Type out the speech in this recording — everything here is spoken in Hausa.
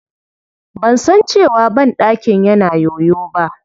Ban san cewa banɗakin yana yoyo ba.